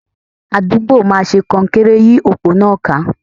Àdúgbò máa ṣe kọnkéré yí òpó náà ká.